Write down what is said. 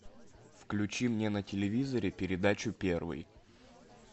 включи мне на телевизоре передачу первый